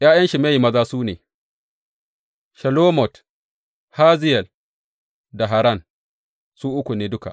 ’Ya’yan Shimeyi maza su ne, Shelomot, Haziyel da Haran, su uku ne duka.